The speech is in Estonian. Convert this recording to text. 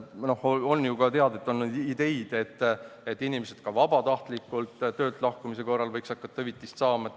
Nagu teada, on ju kõlanud ka selliseid ideid, et inimesed võiksid vabatahtlikult töölt lahkumise korral hakata hüvitist saama.